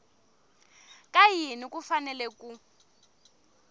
ka yini ku fanele ku